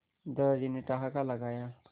दादाजी ने ठहाका लगाया